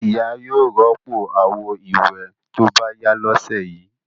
Ìyá yóò rọ́pò àwo-ìwẹ̀ tó bá yá lọ́sẹ̀ yìí.